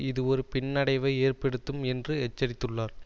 இது ஒரு பின்னடைவை ஏற்படுத்தும் என்று எச்சரித்துள்ளார்